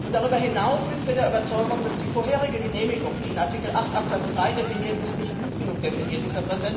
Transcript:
Darüber hinaus sind wir der Überzeugung, dass die vorherige Genehmigung, die in Artikel 8 Absatz 3 definiert ist, nicht gut genug definiert